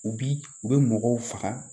U bi u bɛ mɔgɔw faga